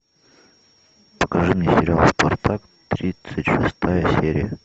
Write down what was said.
покажи мне сериал спартак тридцать шестая серия